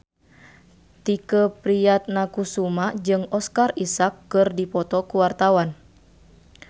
Tike Priatnakusuma jeung Oscar Isaac keur dipoto ku wartawan